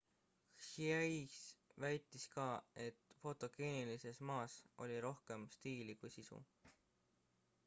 hsieh väitis ka et fotogeenilises ma's oli rohkem stiili kui sisu